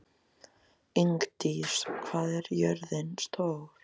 Ingdís, hvað er jörðin stór?